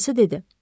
Atası dedi: